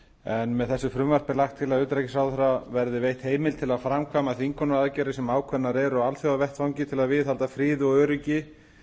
en með þessu frumvarpi er lagt til að utanríkisráðherra verði veitt heimild til að framkvæma þvingunaraðgerðir sem ákveðnar eru á alþjóðavettvangi til að viðhalda friði og öryggi